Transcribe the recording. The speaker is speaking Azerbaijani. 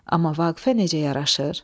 Amma Vaqifə necə yaraşır?